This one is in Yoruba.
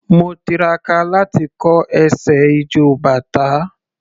Mo tiraka láti kọ́ ẹsẹ̀ ijó bàtá.